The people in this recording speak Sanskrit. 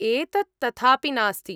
एतत् तथापि नास्ति।